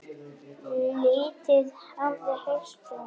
Lítið hafi heyrst um það.